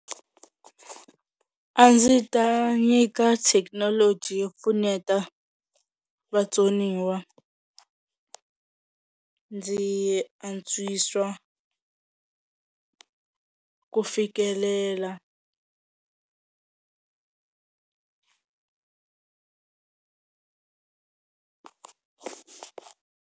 A ndzi ta nyika thekinoloji yo pfuneta vatsoniwa ndzi antswisa ku fikelela.